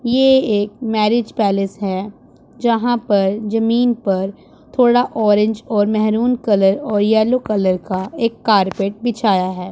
यह एक marriage palace है जहां पर जमीन पर थोड़ा ऑरेंज और मेहरून कलर और येलो कलर का एक कारपेट बिछाया है।